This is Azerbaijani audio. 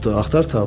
Axtar tap.